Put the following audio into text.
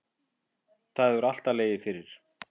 Það hefur alltaf legið fyrir